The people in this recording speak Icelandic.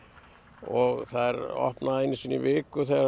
og það er opnað einu sinni í viku